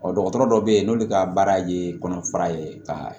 Ɔ dɔgɔtɔrɔ dɔ bɛ yen n'olu ka baara ye kɔnɔfara ye ka